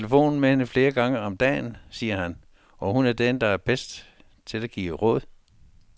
Han taler i telefon med hende flere gange om dagen, siger han, og hun er den, der er bedst til at give råd.